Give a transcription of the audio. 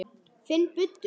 Finn buddu.